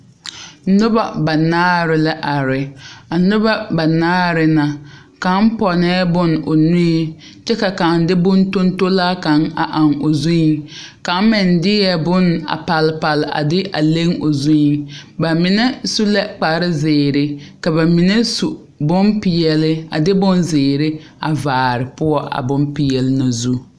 Noba banaare la are a noba banaare na kaŋa pɔnnɛɛ bonne o nuiŋ kyɛ ka kaŋa de bontontolaa kaŋa eŋ o zuiŋ kaŋa meŋ deɛ bonne a palpal a de a leŋ o zuiŋ ba mine su la kparezeere ka ba mine su bonpeɛle a de bonzeere a vaare poɔ a bonpeɛle na zu.